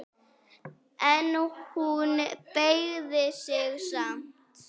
En hún beygði sig samt.